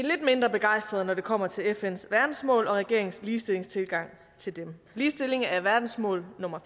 mindre begejstrede når det kommer til fns verdensmål og regeringens ligestillingstilgang til dem ligestilling er verdensmål nummer